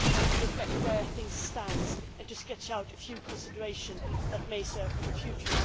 to reflect where things stand and to sketch out a few considerations that may serve for the future.